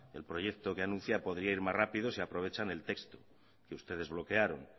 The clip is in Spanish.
el proyecto que anuncia podría ir más rápido si aprovechan el texto que ustedes bloquearon